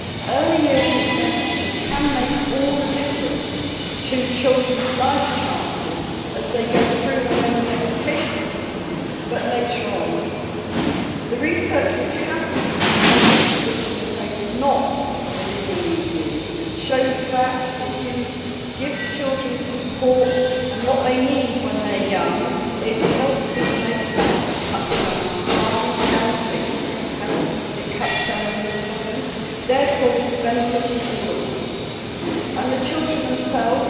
Early years intervention can make all the difference to children's life chances, not only as they go through the educational system, but also later on in life. The research which has been done, most of which I am afraid is not within the EU, shows that, if you give children support and what they need when they are young, it helps them in later life it cuts down on crime, improves health and cuts down on unemployment, therefore benefiting all of us. The children themselves